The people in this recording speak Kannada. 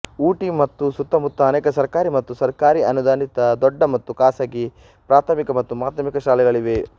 ಊಟಿ ಮತ್ತು ಸುತ್ತಮುತ್ತ ಅನೇಕ ಸರ್ಕಾರಿ ಮತ್ತು ಸರ್ಕಾರಿ ಅನುದಾನಿತ ದೊಡ್ಡ ಮತ್ತು ಖಾಸಗಿ ಪ್ರಾಥಮಿಕ ಮತ್ತು ಮಾಧ್ಯಮಿಕ ಶಾಲೆಗಳಿವೆ